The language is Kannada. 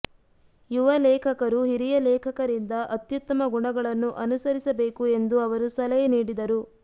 ಯುವ ಲೇಖಕರು ಹಿರಿಯ ಲೇಖಕರಿಂದ ಅತ್ಯುತ್ತಮ ಗುಣಗಳನ್ನು ಅನುಸರಿಸಬೇಕು ಎಂದು ಅವರು ಸಲಹೆ ನೀಡಿದರು